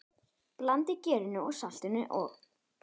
Blandið gerinu, saltinu og?